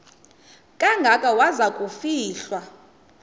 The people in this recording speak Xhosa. kangaka waza kufihlwa